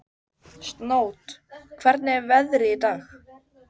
Snót, hvernig er veðrið í dag?